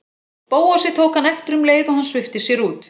Bóasi, tók hann eftir um leið og hann svipti sér út.